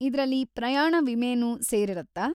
ಇದ್ರಲ್ಲಿ ಪ್ರಯಾಣ ವಿಮೆನೂ ಸೇರಿರತ್ತಾ?